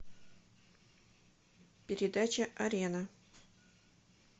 передача арена